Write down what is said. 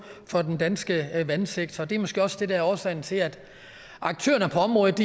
for den danske vandsektor det er måske også det der er årsagen til at aktørerne på området